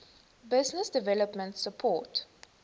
business development support